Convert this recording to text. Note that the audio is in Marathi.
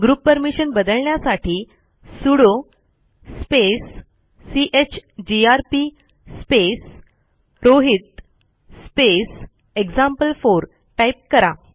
ग्रुप परमिशन बदलण्यासाठी sudo space chgrp space Rohit space example four type करा